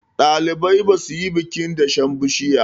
ɗalibai za su yi bikin dashen bishiya